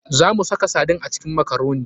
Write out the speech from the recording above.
Za mu saka sardine a cikin makaroni.